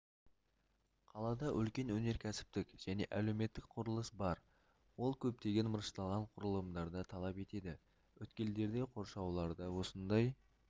қалада үлкен өнеркәсіптік және әлеуметтік құрылыс бар ол көптеген мырышталған құрылымдарды талап етеді өткелдерде қоршауларда осындай